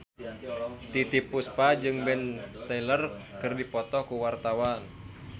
Titiek Puspa jeung Ben Stiller keur dipoto ku wartawan